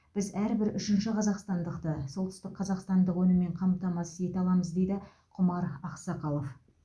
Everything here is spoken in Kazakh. біз әрбір үшінші қазақстандықты солтүстікқазақстандық өніммен қамтамасыз ете аламыз дейді құмар ақсақалов